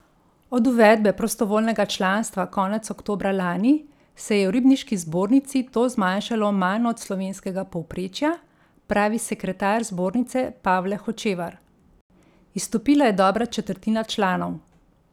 Od uvedbe prostovoljnega članstva konec oktobra lani se je v ribniški zbornici to zmanjšalo manj od slovenskega povprečja, pravi sekretar zbornice Pavle Hočevar: 'Izstopila je dobra četrtina članov.